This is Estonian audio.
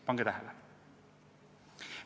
Pange tähele!